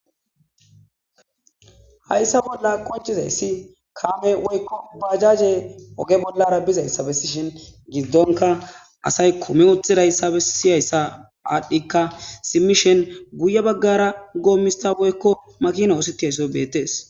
hayssa bolla konchizayssi kaame woykko bajaje oge bollara bizayssabesishin giddonka asay kume uthidayssabe siyayssa aadhdhikka simmishen guye baggara goommistaboykko makina oositaysoy bettees